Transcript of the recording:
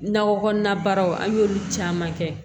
Nakɔ kɔnɔna baaraw an y'olu caman kɛ